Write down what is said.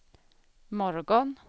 morgon